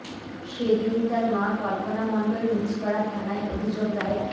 সে দিনই তার মা কল্পনা মণ্ডল মুচিপাড়া থানায় অভিযোগ দায়ের